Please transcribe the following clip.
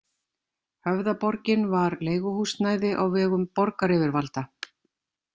Höfðaborgin var leiguhúsnæði á vegum borgaryfirvalda.